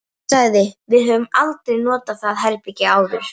Hún sagði: Við höfum aldrei notað það herbergi áður